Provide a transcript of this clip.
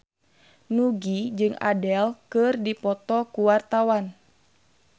Nugie jeung Adele keur dipoto ku wartawan